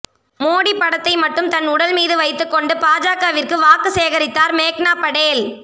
மோடி படத்தை மட்டும் தன் உடல் மீது வைத்துக்கொண்டு பாஜகவிற்கு வாக்கு சேகரித்தார் மேக்னா படேல்